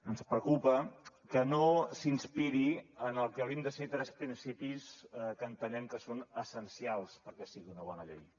ens preocupa que no s’inspiri en el que haurien de ser tres principis que entenem que són essencials perquè sigui una bona llei